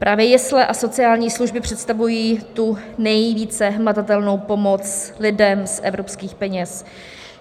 Právě jesle a sociální služby představují tu nejvíce hmatatelnou pomoc lidem z evropských peněz.